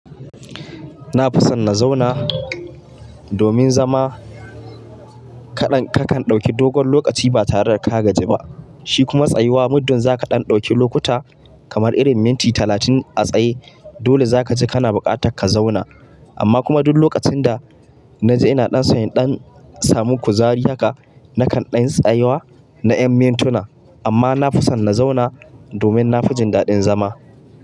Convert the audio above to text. Na fi son na zauna domin zama kaɗan kakan ɗauki dogon lokaci ba tare da ka gaji ba. Shi kuma tsayuwa muddin za ka ɗan ɗauki lokuta kamar irin minti talatin a tsaye dole za kaji kana buƙatar ka zauna. Amma kuma duk lokacin da na ji ina ɗan son ɗan samu kuzari haka, nakan ɗan tsayuwa na yan mintuna amma na fi son na zauna domin na fi jin daɗin zama.